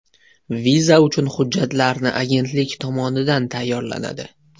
Viza uchun hujjatlarni agentlik tomonidan tayyorlanadi.